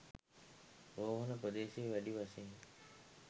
රෝහණ ප්‍රදේශයේ වැඩි වශයෙන්